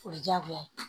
O ye diyagoya ye